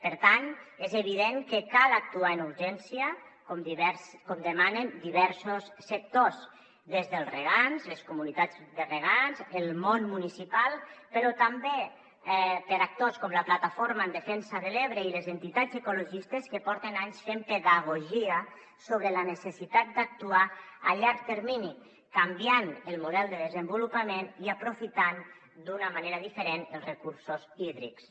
per tant és evident que cal actuar amb urgència com demanen diversos sectors des dels regants les comunitats de regants el món municipal però també per a actors com la plataforma en defensa de l’ebre i les entitats ecologistes que porten anys fent pedagogia sobre la necessitat d’actuar a llarg termini canviant el model de desenvolupament i aprofitant d’una manera diferent els recursos hídrics